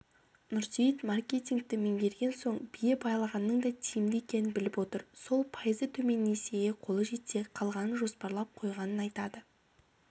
нұрсейіт маркетингті меңгерген соң бие байлағанның да тиімді екенін біліп отыр сол пайызы төмен несиеге қолы жетсе қалғанын жоспарлап қойғанын айтады